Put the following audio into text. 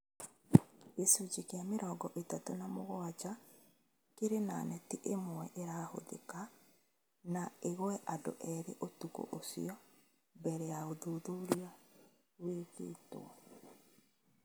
Gĩcunjĩ kĩa mĩrongo ĩtatũ na mũgwanja kĩrĩ na neti ĩmwe ĩrahũthĩka na engwe andũ eerĩ ũtũkũ ũcio mbele ya ũthuthuria wĩkĩtũo